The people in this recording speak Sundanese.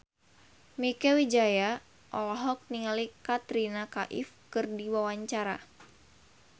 Mieke Wijaya olohok ningali Katrina Kaif keur diwawancara